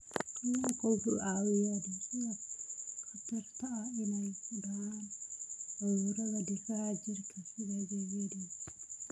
Kalluunku wuxuu caawiyaa dhimista khatarta ah inay ku dhacaan cudurrada difaaca jirka sida HIV/AIDS.